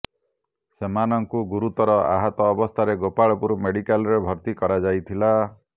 ସେମାନଙ୍କୁ ଗୁରୁତର ଆହତ ଅବସ୍ଥାରେ ଗୋପାଳପୁର ମେଡ଼ିକାଲରେ ଭର୍ତ୍ତି କରାଯାଇଥିଲା